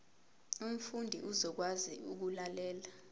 umfundi uzokwazi ukulalela